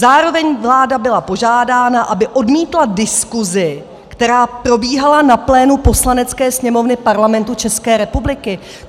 Zároveň vláda byla požádána, aby odmítla diskusi, která probíhala na pléna Poslanecké sněmovny Parlamentu České republiky.